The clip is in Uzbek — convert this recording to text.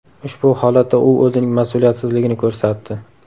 Ushbu holatda u o‘zining mas’uliyatsizligini ko‘rsatdi.